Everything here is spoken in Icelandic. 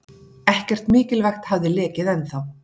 Ekkert mikilvægt hafði lekið ennþá.